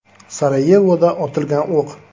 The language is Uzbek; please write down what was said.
Sarayevoda otilgan o‘q.